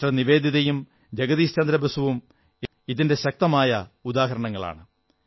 sister നിവേദിതയും ജഗദീശ് ചന്ദ്രബോസും ഇതിന്റെ ശക്തമായ ഉദാഹരണങ്ങളാണ്